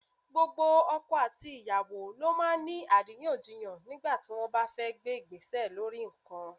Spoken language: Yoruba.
Gbogbo ọkọ àti ìyàwó ló máa ń ní àríyànjiyàn nígbà tí wọ́n bá fẹ́ gbé Ìgbésẹ̀ lórí nǹkan.